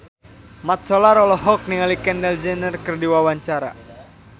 Mat Solar olohok ningali Kendall Jenner keur diwawancara